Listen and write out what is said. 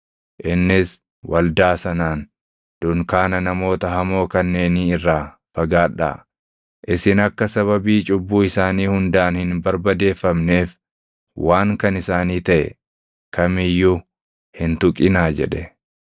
Innis waldaa sanaan, “Dunkaana namoota hamoo kanneenii irraa fagaadhaa! Isin akka sababii cubbuu isaanii hundaan hin barbadeeffamneef waan kan isaanii taʼe kam iyyuu hin tuqinaa” jedhe.